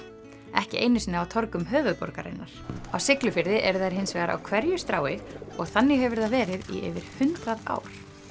ekki einu sinni á torgum höfuðborgarinnar á Siglufirði eru þær hins vegar á hverju strái og þannig hefur það verið í yfir hundrað ár